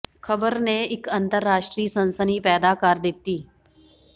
ਖ਼ਬਰ ਨੇ ਇੱਕ ਅੰਤਰ ਰਾਸ਼ਟਰੀ ਸਨਸਨੀ ਪੈਦਾ ਕਰ ਦਿੱਤੀ